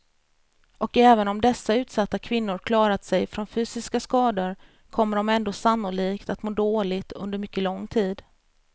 Och även om dessa utsatta kvinnor klarat sig från fysiska skador kommer de ändå sannolikt att må dåligt under mycket lång tid.